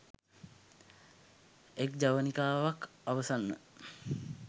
එක් ජවනිකාවක් අවසන්ව